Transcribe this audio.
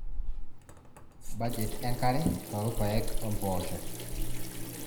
budget enkare toolpaek o mpoosho